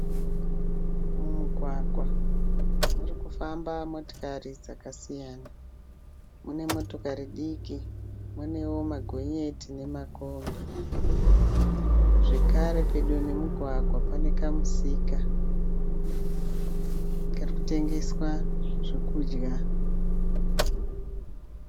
Mumugwagwa murikufamba motikari dzakasiyana. Mune motokari diki muneo magonyeti nemakombi. Zvekare pedo nemugwagwa pane kamusika karikutengeswa zvokudya.